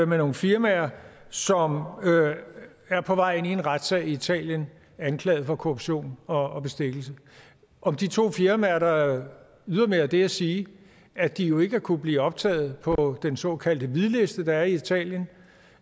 nogle firmaer som er på vej ind i en retssag i italien anklaget for korruption og bestikkelse om de to firmaer er der ydermere det at sige at de jo ikke kunne blive optaget på den såkaldte hvidliste der er i italien